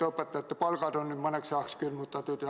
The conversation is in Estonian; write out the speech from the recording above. Õpetajate palgad on ju mõneks ajaks külmutatud.